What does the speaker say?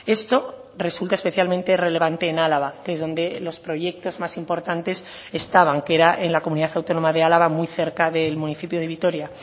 esto resulta especialmente relevante en álava que es donde los proyectos más importantes estaban que era en la comunidad autónoma de álava muy cerca del municipio de vitoria